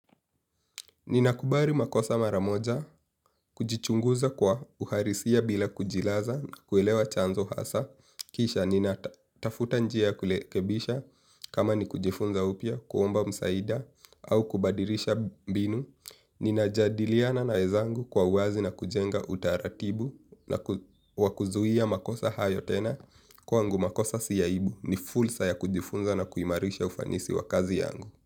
Ninakubali makosa mara moja, kujichunguza kwa uhalisia bila kujilaza kueleza chanzo hasa kisha ninatafuta njia ya kurekebisha kama ni kujifunza upya kuomba msaada au kubadilisha mbinu ninajadiliana na wenzangu kwa kujenga uwazi na utaratibu wa kuzuia makosa hayo tena kwangu makosa si aibu ni fursa ya kujifunza na kuimarisha ufanisi wa kazi yangu.